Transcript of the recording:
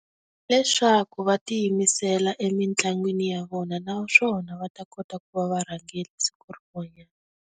Leswaku va ti yimisela emitlangwini ya vona naswona va ta kota ku va varhangeri siku rin'wanyana.